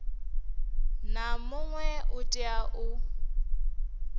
na muṅwe u tea u